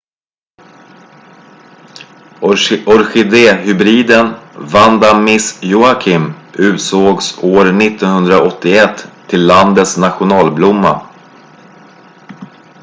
orkidéhybriden vanda miss joaquim utsågs år 1981 till landets nationalblomma